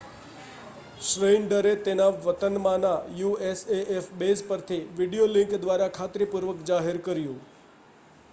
શ્નેઇડરે તેના વતનમાંના usaf base પરથી વીડિયો લિંક દ્વારા ખાતરીપૂર્વક જાહેર કર્યું